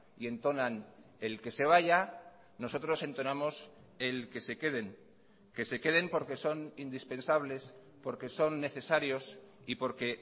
y entonan el que se vaya nosotros entonamos el que se queden que se queden porque son indispensables porque son necesarios y porque